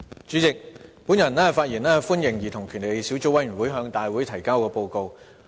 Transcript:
主席，我發言歡迎兒童權利小組委員會向大會提交的報告。